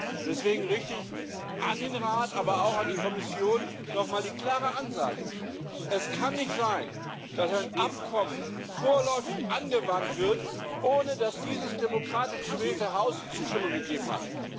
Und deswegen richte ich an den Rat, aber auch an die Kommission nochmal die klare Ansage Es kann nicht sein, dass ein Abkommen vorläufig angewandt wird, ohne dass dieses demokratisch gewählte Haus die Zustimmung gegeben hat.